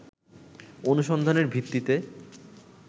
অনুসন্ধানের ভিত্তিতে